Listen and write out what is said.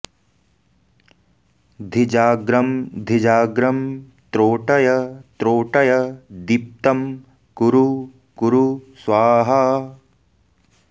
धिजाग्रम् धिजाग्रं त्रोटय त्रोटय दीप्तं कुरु कुरु स्वाहा